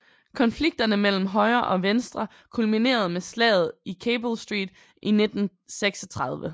Konflikterne mellem højre og venstre kulminerede med slaget i Cable Street i 1936